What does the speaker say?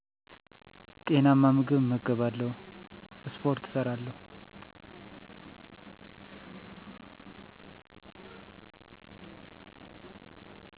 ጤናማ ምግብ እመገባለሁ እሰሰፖርት እሠራለሁ